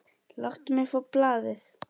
Láttu mig fá blaðið!